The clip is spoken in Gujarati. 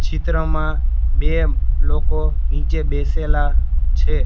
ચિત્રમાં બે લોકો નીચે બેસેલા છે.